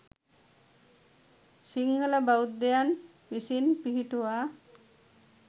සිංහල බෞද්ධයන් විසින් පිහිටුවා